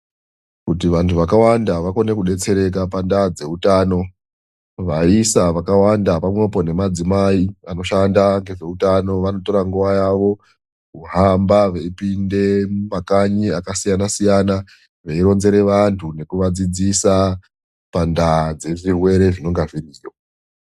Kuti vandu vakawanda vakwanise kudetsereka pandaa dzehutano. Vaisa vakawanda pamwepo nemadzimai vanoshanda nezvehutano vanotora nguva yavo kuhamba veipinda mumakanyi akasiyana siyana veironzera vandu nekuvadzidzisa pandaa yezvii rwere zvinenge zviriyo.